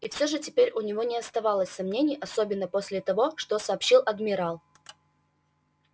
и всё же теперь у него не осталось сомнений особенно после того что сообщил адмирал